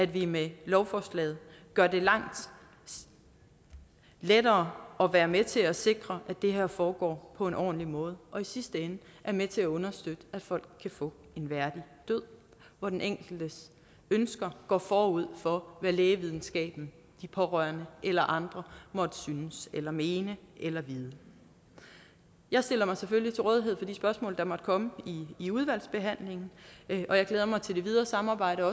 vi med lovforslaget gør det langt lettere at være med til at sikre at det her foregår på en ordentlig måde og i sidste ende er med til at understøtte at folk kan få en værdig død hvor den enkeltes ønsker går forud for hvad lægevidenskaben de pårørende eller andre måtte synes eller mene eller vide jeg stiller mig selvfølgelig til rådighed for de spørgsmål der måtte komme i udvalgsbehandlingen og jeg glæder mig også til det videre samarbejde